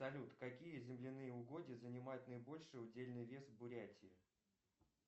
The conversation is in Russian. салют какие земляные угодья занимают наибольший удельный вес в бурятии